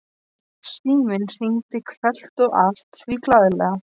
Síminn hringdi hvellt og allt því glaðlega.